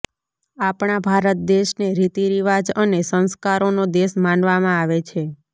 આપણા ભારત દેશને રીતિ રિવાજ અને સંસ્કારોનો દેશ માનવામાં આવે છે